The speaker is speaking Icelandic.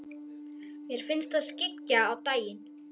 Mér finnst það skyggja á daginn.